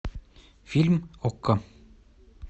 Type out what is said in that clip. фильм окко